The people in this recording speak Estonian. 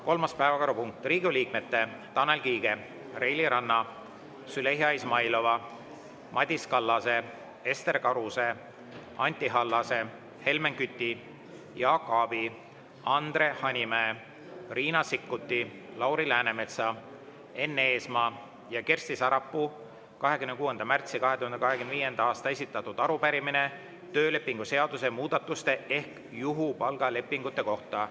Kolmas päevakorrapunkt: Riigikogu liikmete Tanel Kiige, Reili Ranna, Züleyxa Izmailova, Madis Kallase, Ester Karuse, Anti Allase, Helmen Küti, Jaak Aabi, Andre Hanimäe, Riina Sikkuti, Lauri Läänemetsa, Enn Eesmaa ja Kersti Sarapuu 26. märtsil 2025. aastal esitatud arupärimine töölepingu seaduse muudatuste ehk juhupalga lepingute kohta.